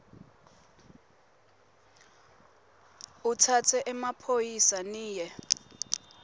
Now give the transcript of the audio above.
utsatse emaphoyisa niye